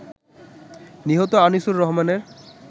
নিহত আনিসুর রহমানের